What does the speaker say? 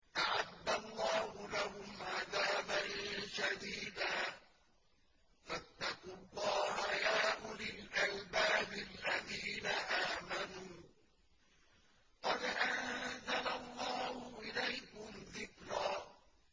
أَعَدَّ اللَّهُ لَهُمْ عَذَابًا شَدِيدًا ۖ فَاتَّقُوا اللَّهَ يَا أُولِي الْأَلْبَابِ الَّذِينَ آمَنُوا ۚ قَدْ أَنزَلَ اللَّهُ إِلَيْكُمْ ذِكْرًا